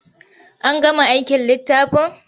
An gama aikin littafin?